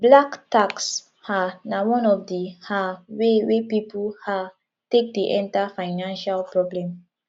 black tax um na one of di um way wey pipo um take dey enter financial problem